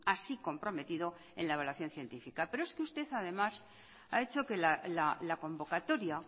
así comprometido en la evaluación científica pero es que usted además ha hecho que la convocatoria